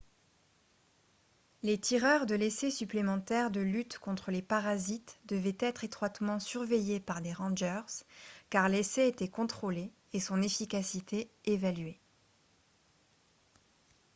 les tireurs de l'essai supplémentaire de lutte contre les parasites devaient être étroitement surveillés par des rangers car l'essai était contrôlé et son efficacité évaluée